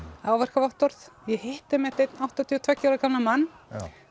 áverkavottorð ég hitti einmitt einn áttatíu og tveggja ára gamlan mann